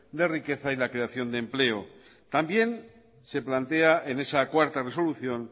de riqueza y la creación de empleo también se plantea en esa cuarta resolución